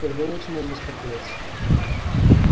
когда начинать беспокоиться